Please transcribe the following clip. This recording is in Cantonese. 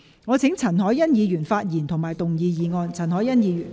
我請易志明議員發言及動議議案。